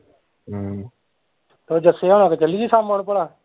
ਹਮ ਤੇ ਜਸੇ ਹੁਣਾ ਕੋਲ ਚੱਲੀਏ ਸ਼ਾਮਾ ਨੂੰ ਭਲਾ